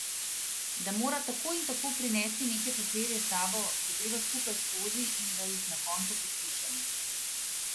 Da mora tako in tako prinesti neke papirje s sabo, da greva skupaj skozi in da jih na koncu podpišem.